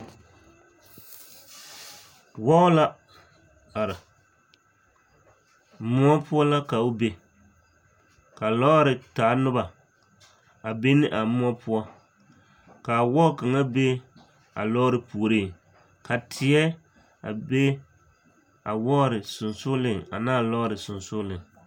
Wɔɔ la are, moɔ poɔ la ka o be ka lɔɔre taa noba a be ne a moɔ poɔ k'a wɔɔ kaŋa be a lɔɔre puoriŋ ka teɛ a be a wɔɔre sonsooleŋ anaa lɔɔre aonsooleŋ.